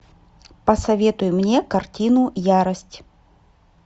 посоветуй мне картину ярость